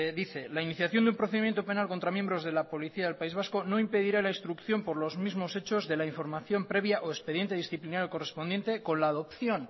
dice la iniciación de un procedimiento penal contra miembros de la policía del país vasco no impedirá la instrucción por los mismos hechos de la información previa o expediente disciplinario correspondiente con la adopción